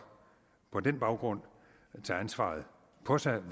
på den baggrund tage ansvaret på sig